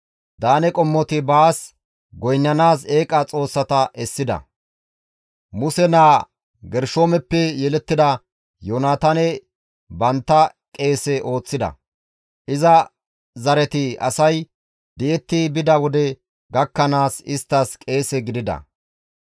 Daane qommoti baas goynnanaas eeqa xoossata essida; Muse naa Gershoomeppe yelettida Yoonataane bantta qeese ooththida. Iza zareti asay di7etti bida wode gakkanaas isttas qeese gidida.